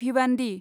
Bhiwandi